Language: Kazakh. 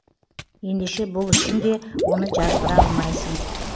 ендеше бұл үшін де оны жазғыра алмайсың